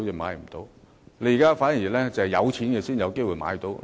目前，反而是有錢的人才有機會買樓。